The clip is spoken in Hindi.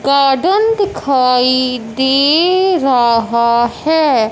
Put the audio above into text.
गार्डन दिखाई दे रहा है।